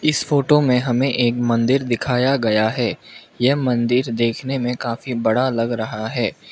इस फोटो में हमें एक मंदिर दिखाया गया है यह मंदिर देखने में काफी बड़ा लग रहा है।